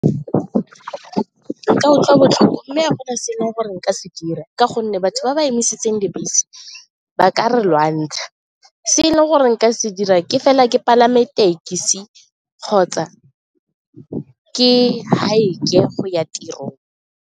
Nka utlwa botlhoko mme a gona se e leng gore nka se dira ka gonne batho ba ba emisitseng dibese ba ka re lwantsha, se e leng gore nka se dira ke fela ke palame tekesi kgotsa ke hike-e go ya tirong.